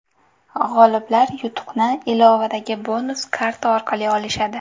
G‘oliblar yutuqni ilovadagi bonus karta orqali olishadi.